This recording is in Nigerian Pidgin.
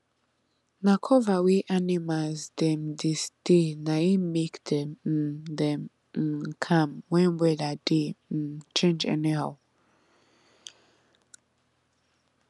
na cover wey animals dem dey stay na im make dem um dey um calm when weather dey um change anyhow